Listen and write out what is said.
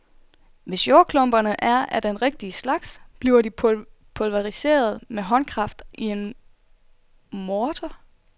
Hvis jordklumperne er af den rigtige slags, bliver de pulveriseret med håndkraft i en morter.